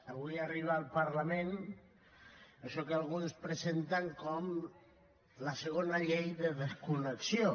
avui arriba al parlament això que alguns presenten com la segona llei de desconnexió